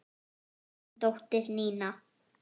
Þín dóttir, Nína.